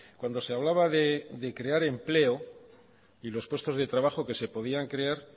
cuando se hablaba de crear empleo y los puestos de trabajo que se podían crear